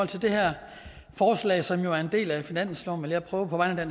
til det her forslag som jo er en del af finansloven vil jeg prøve på vegne af